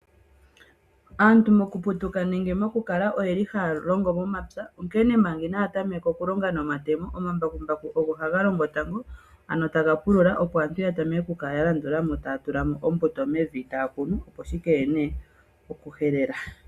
Aantu mokuputuka nenge mokukala oyeli haalongo ompya onkene manga inaa tameka okulonga nomatemo omambakumbaku ogo haga longo tango, ano taga pulula opo aantu yatameke oku landulamo taya kunu ombuto mevi opo shikeye nee pokuhelela.